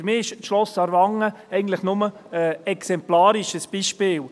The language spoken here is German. Für mich ist das Schloss Aarwangen eigentlich nur exemplarisch, ein Beispiel.